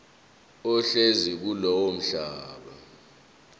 ohlezi kulowo mhlaba